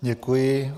Děkuji.